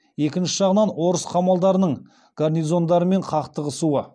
екінші жағынан орыс қамалдарының гарнизондарымен қақтығысуы